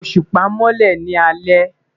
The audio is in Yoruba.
Oṣupa nmọlẹ ni alẹ